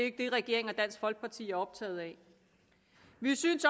ikke det regeringen og dansk folkeparti er optaget af vi synes